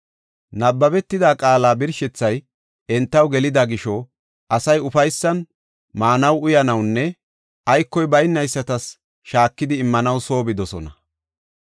Nabbebetida qaala birshethay entaw gelida gisho, asay ufaysan maanaw, uyanawnne aykoy baynaysatas shaakidi immanaw soo bidosona.